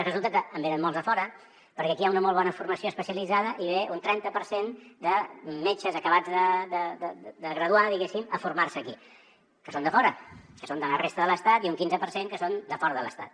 resulta que en venen molts de fora perquè aquí hi ha una molt bona formació especialitzada i ve un trenta per cent de metges acabats de graduar diguem ne a formar se aquí que són de fora que són de la resta de l’estat i un quinze per cent que són de fora de l’estat